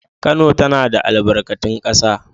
Kano tana da albarkatun ƙasa